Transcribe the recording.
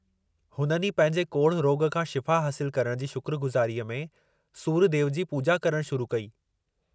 हुननि ई पंहिंजे कोढ़ रोॻ खां शिफ़ा हासिलु करण जी शुक्रगुज़ारीअ में सुर्य देव जी पूॼा करणु शुरू कई।